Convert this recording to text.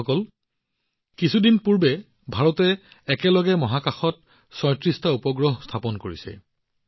বন্ধুসকল আপোনালোকে নিশ্চয় কেইদিনমান আগতে দেখিছে যে ভাৰতে একেলগে মহাকাশত ৩৬টা উপগ্ৰহ স্থাপন কৰিছে